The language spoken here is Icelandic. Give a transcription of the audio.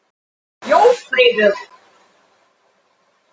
Jófríður